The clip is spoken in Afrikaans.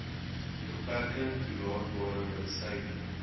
beperking toelaatbare mediese